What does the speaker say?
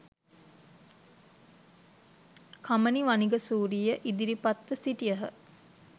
කමනි වනිගසූරිය ඉදිරිපත්ව සිටියහ